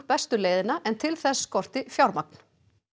bestu leiðina en til þess skorti fjármagn